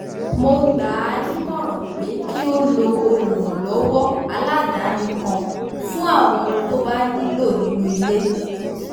mo gbà á nímọ̀ràn pé kí ó lo olùrànlọ́wọ́ aládani kan fún àwọn ohun tó bá nílò nínú ilé